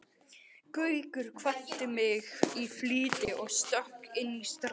Gaukur kvaddi mig í flýti og stökk inn í strætó.